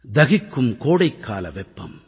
தகிக்கும் கோடைக்கால வெப்பம்